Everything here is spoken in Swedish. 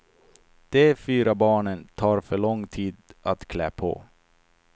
De fyra barnen tar för lång tid att klä på.